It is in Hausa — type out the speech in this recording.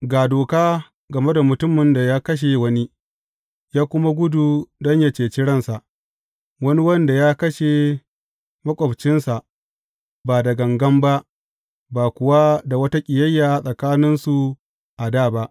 Ga doka game da mutumin da ya kashe wani, ya kuma gudu don yă cece ransa, wani wanda ya kashe maƙwabcinsa ba da gangan ba, ba kuwa da wata ƙiyayya a tsakaninsu a dā ba.